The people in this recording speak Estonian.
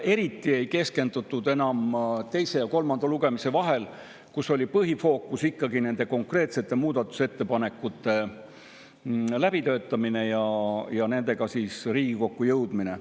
Eriti ei keskendutud sellele enam teise ja kolmanda lugemise vahel, kui põhifookus oli ikkagi nende konkreetsete muudatusettepanekute läbitöötamisel ja nendega Riigikokku jõudmisel.